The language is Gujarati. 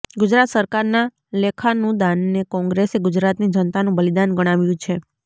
ગુજરાત સરકારનાં લેખાનુદાનને કોંગ્રેસે ગુજરાતની જનતાનું બલિદાન ગણાવ્યું છે